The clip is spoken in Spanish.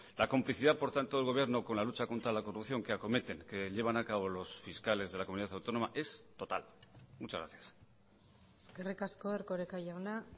la complicidad por tanto del gobierno con la lucha contra la corrupción que acometen que llevan a cabo los fiscales de la comunidad autónoma es total muchas gracias eskerrik asko erkoreka jauna